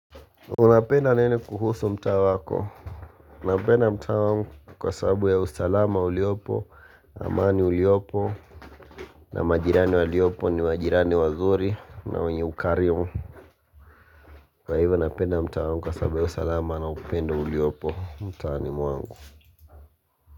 Unapenda nini kuhusu mtaa wako. Naupenda mtaa wangu kwa sababu ya usalama uliopo, amani uliopo, na majirani waliopo ni majirani wazuri na wenye ukarimu. Kwa hivyo unapenda mtaa wangu kwa sababu ya usalama na upenda uliopo mtaa animuangu.